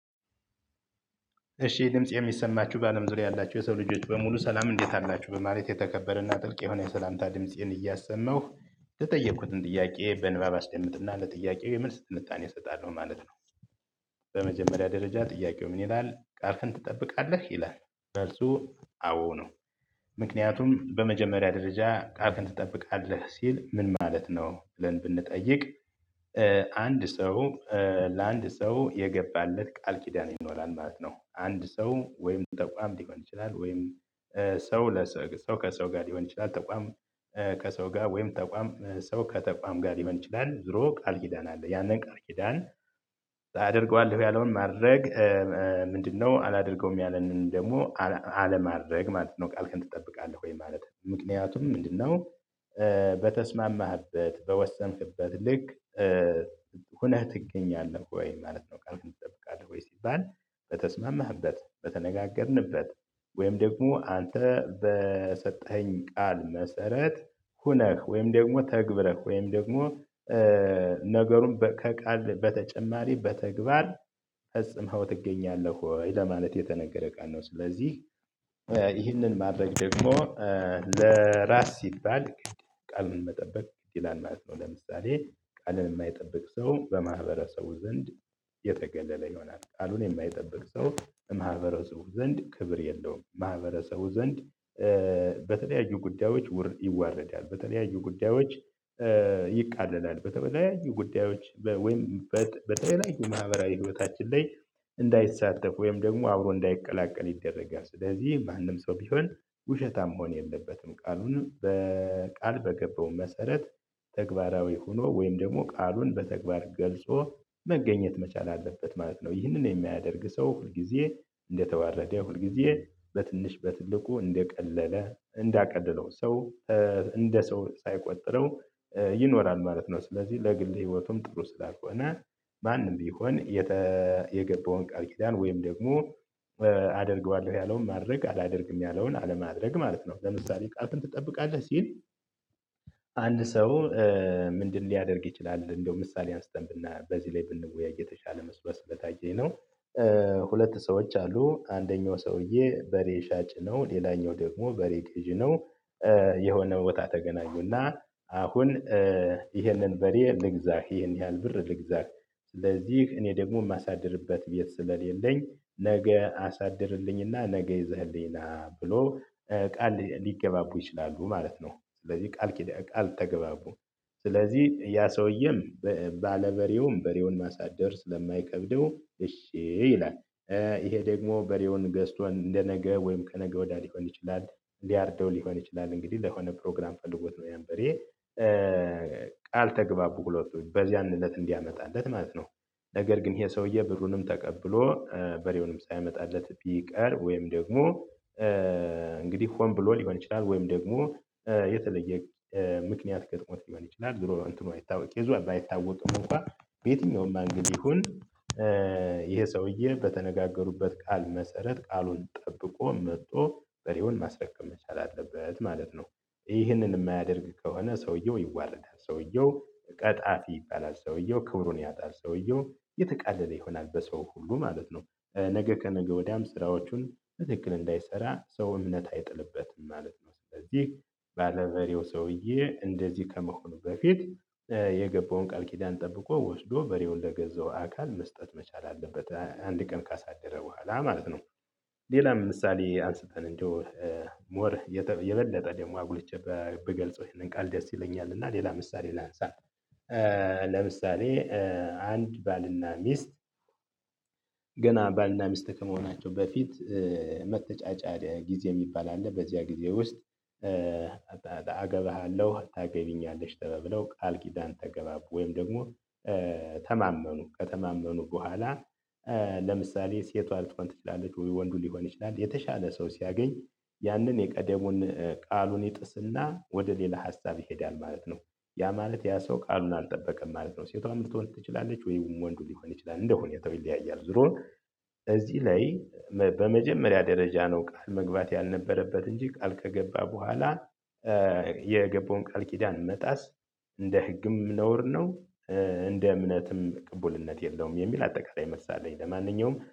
እሺ ድምጽ የሚሰማችሁ በአለም ዙሪያ ያላችሁ የሰው ልጆች በሙሉ ሰላም እንዴት አላችሁ በማለት የተከበረና ጥልቅ የሆነ የሰላምታ ድምፄን እያሰማሁ የተጠየኩትን ጥያቄ በንባብ አስደምጥና ለጥያቄው የምልስ ትንታኔ እሰጣለሁ ማለት ነው። በመጀመሪያ ደረጃ ጥያቄው ምን ይላል፥ ቃልክን ትጠብቃለህ? ይላል። መልሱ አዎ ነው። ምክንያቱም በመጀመሪያ ደረጃ ቃክን ትጠብቃለህ ሲል ምን ማለት ነው? ብለን ብንጠይቅ አንድ ሰው ለአንድ ሰው የገባለት ቃል ኪዳን ይኖራል ማለት ነው። አንድ ሰው ወይም ተቋም ሊሆን ይችላል ወይም ሰው ለሰው ሰው ከሰው ጋር ሊሆን ይችላል ተቋም ከሰው ጋር ወይም ተቋም ሰው ከተቋም ጋር ሊሆን ይችላል ዙሮ ቃል ኪዳን አለ። ያንን ቃል ኪዳን ታደርገዋለህ ያለውን ማድረግ ምንድነው አላደርገውም ያለንን ደግሞ አለማድረግ ማለት ነው ቃል ከእንትን ትጠብቃለህ ወይ ማለት። ምክንያቱም ምንድነው በተስማማህበት በወሰንክበት ልክ ሁነህ ትገኛለህ ወይ ማለት ነው። ቃል እንጠብቃለህ ወይ ሲባል በተስማማህበት በተነጋገርንበት ወይም ደግሞ አንተ በሰጠኸኝ ቃል መሰረት ሆነህ ወይም ደግሞ ተግብረህ ወይም ደግሞ ነገሩን ከቃል በተጨማሪ በተግባር ፈጽመኸው ትገኛለህ ወይ? ለማለት የተነገረ ቃል ነው። ስለዚህ ይህንን ማድረግ ደግሞ ለራስ ሲባል ቃልን መጠበቅ ግድ ይላል ማለት ነው። ለምሳሌ ቃልን የማይጠብቅ ሰው በማህበረሰቡ ዘንድ የተገለለ ይሆናል። ቃሉን የማይጠብቅ ሰው ማህበረሰቡ ዘንድ ክብር የለውም። ማህበረሰቡ ዘንድ በተለያዩ ጉዳዮች ውር ይዋረዳል። በተለያዩ ጉዳዮች ይቃለላል። በተለያዩ ጉዳዮች ወይም በተለያዩ ማህበራዊ ህይወታችን ላይ እንዳይሳተፍ ወይም ደግሞ አብሮ እንዳይቀላቀል ይደረጋል። ስለዚህ ማንም ሰው ቢሆን ውሸታም መሆን የለበትም። ቃሉን በቃል በገባው መሰረት ተግባራዊ ሆኖ ወይም ደግሞ ቃሉን በተግባር ገልጾ መገኘት መቻል አለበት ማለት ነው። ይህንን የማያደርግ ሰው ሁል እንደተዋረደ ሁልጊዜ በትንሽ በትልቁ እንደቀለለ እንዳቀደለው ሰው እንደ ሰው ሳይቆጥረው ይኖራል ማለት ነው። ስለዚህ ለግል ህይወቱም ጥሩ ስላልሆነ ማንም ቢሆን የገባውን ቃል ኪዳን ወይም ደግሞ አደርገዋለሁ ያለውን ማድረግ አላደርግም ያለውን አለማድረግ ማለት ነው። ለምሳሌ ቃልህን ትጠብቃለህ ሲል አንድ ሰው ምንድነው ሊያደርግ ይችላል እንደሚለው ምሳሌ አንስተን በዚህ ላይ ብንወያይ የተሻለ መስሎ ስለታየኝ ነው። ሁለት ሰዎች አሉ። አንደኛው ሰውዬ በሬ ሻጭ ነው፤ ሌላኛው ደግሞ በሬ ገዢ ነው። የሆነ ቦታ ተገናኙና አሁን ይህንን በሬ ልግዛህ ይሄን ያህል ብር ልግዛህ ስለዚህ እኔ ደግሞ የማሳድርበት ቤት ስለሌለኝ ነገ አሳድርልኝና ነገ ይዘህልኝ ና ብሎ ቃል ሊገባቡ ይችላሉ ማለት ነው። ስለዚህ ቃል ቃል ተገባቡ። ስለዚህ ያ ሰውየውም ባለበሬውም በሬውን ማሳደር ስለማይከብደው እሺ ይላል። ይሄ ደግሞ በሬውን ገዝቶ እንደነገ ወይም ከነገ ወዲያ ሊሆን ይችላል፤ ሊያርደው ሊሆን ይችላል እንግዲህ ለሆነ ፕሮግራም ፈልጎት ነው ያን በሬ። ቃል ተግባቡ ሁለቱ በዚያን እለት እንዲያመጣለት ማለት ነው። ነገር ግን ይሄ ሰውዬ ብሩንም ተቀብሎ በሬውንም ሳያመጣለት ቢቀር ወይም ደግሞ እንግዲህ ሆን ብሎ ሊሆን ይችላል ወይም ደግሞ የተለየ ምክንያት ገጥሞት ሊሆን ይችላል ዙሮ እንትኑ አይታወቅም ኬዙ ባይታወቅም እንኳን በየትኛውም አንግል ይሁን ሰውዬ በተነጋገሩበት ቃል መሰረት ቃሉን ጠብቆ መጥቶ በሬውን ማስረከብ መቻል አለበት ማለት ነው። ይህንን የማያደርግ ከሆነ ሰውየው ይዋረዳል። ሰውየው ቀጣፊ ይባላል። ሰውየው ክብሩን ያጣል። ሰውየው የተቃለለ ይሆናል በሰው ሁሉ ማለት ነው። ነገ ከነገ ወዲያም ስራዎቹን ትክክል እንዳይሰራ ሰው እምነት አይጥልበትም ማለት ነው። ስለዚህ ባለበሬው ሰውዬ እንደዚህ ከመሆኑ በፊት የገባውን ቃል ኪዳን ጠብቆ ወስዶ በሬውን ለገዛው አካል መስጠት መቻል አለበት። አንድ ቀን ካሳደረ በኋላ ማለት ነው። ሌላም ምሳሌ አንስተን እንዲሁ ሞር የበለጠ ደግሞ አጉልቼ ብገልጸው ይሄንን ቃል ደስ ይለኛል። እና ሌላ ምሳሌ ላንሳ። ለምሳሌ አንድ ባልና ሚስት ገና ባልና ሚስት ከመሆናቸው በፊት መተጫጫ ጊዜ የሚባል አለ። በዚያ ጊዜ ውስጥ አገባሃለሁ ታገቢኛለሽ ተበብለው ቃል ኪዳን ተገባቡ ወይም ደግሞ ተማመኑ። ከተማመኑ በኋላ ለምሳሌ ሴቷ ልትሆን ትችላለች ወንዱ ሊሆን ይችላል የተሻለ ሰው ሲያገኝ ያንን የቀደሙን ቃሉን ይጥስና ወደ ሌላ ሀሳብ ይሄዳል ማለት ነው። ያ ማለት ያ ሰው ቃሉን አልጠበቀም ማለት ነው። ሴቷም ልትሆን ትችላለች ወይ ወንዱ ሊሆን ይችላል። እንደ ሁኔታው ይለያያል። ዙሮ እዚህ ላይ በመጀመሪያ ደረጃ ነው ቃል መግባት ያልነበረበት እንጂ ቃል ከገባ በኋላ የገባውን ቃል ኪዳን መጣስ እንደ ህግም ነውር ነው፤ እንደ እምነትም ቅቡልነት የለውም የሚል አጠቃላይ መልስ አለኝ። ለማንኛውም